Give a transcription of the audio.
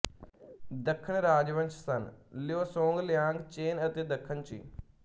ਦੱਖਣ ਰਾਜਵੰਸ਼ ਸਨ ਲਿਊ ਸੋਂਗ ਲਿਆਂਗ ਚੇਨ ਅਤੇ ਦੱਖਣ ਚੀ